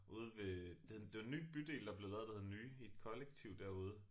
Ude ved det hed det var en ny bydel der blev lavet der hed Nye i et kollektiv derude